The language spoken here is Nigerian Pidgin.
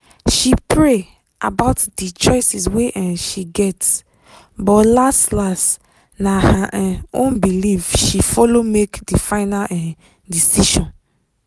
she pray about d choices wey um she get but las-las na her um own belief she follow make di final um decision.